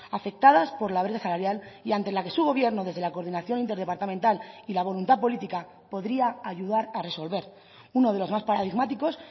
afectadas por la brecha salarial y ante la que su gobierno desde la coordinación interdepartamental y la voluntad política podría ayudar a resolver uno de los más paradigmáticos